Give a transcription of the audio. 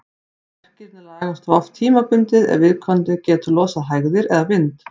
Verkirnir lagast þó oft tímabundið ef viðkomandi getur losað hægðir eða vind.